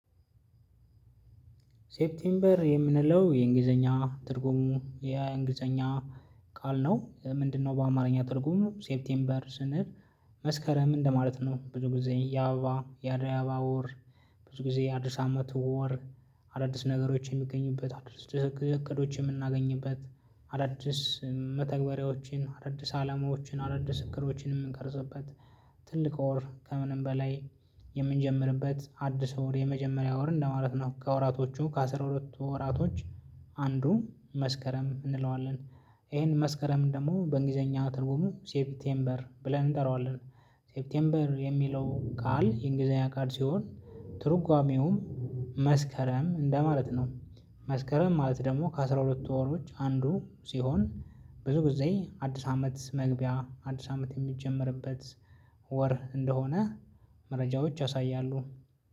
ሴፕቴምበር የምንለው የእንግሊዘኛ ትርጉሙ የእንግሊዘኛ ቃል ነው። ምንድነው በአማርኛ ትርጉሙ? ሴፕቴምበር ስንል መስከረም እንደማለት ነው። ብዙ ጊዜ ያበባ የዓደይ አበባ ወር ብዙ ጊዜ የአዲስ አመት ወር አዳዲስ ነገሮች የሚገኙበት አዲስ እቅዶች የምናገኝበት አዳዲስ መተግበሪያዎችን አዳዲስ አላማዎችን አዳዲስ እቅዶችን ምንቀርጽበት ትልቅ ወር ከምንም በላይ የምንጀምርበት አዲስ ወር የመጀመሪያ ወር እንደማለት ነው። ከወራቶቹ ከአስራ ሁለቱ ወራቶች አንዱ መስከረም እንለዋለን። ይሄን መስከረም ደግሞ በእንግሊዘኛ ትርጉሙ ሴፕቴምበር ብለን እንጠራዋለን። ሴፕቴምበር የሚለው ቃል የእንግሊዘኛ ቃል ሲሆን ትርጓሜውም መስከረም እንደማለት ነው። መስከረም ማለት ደግሞ ከአስራ ሁለቱ ወሮች አንዱ ሲሆን ብዙ ጊዜ አዲስ አመት መግቢያ አዲስ አመት ሚጀመርበት ወር እንደሆነ መረጃዎች ያሳያሉ።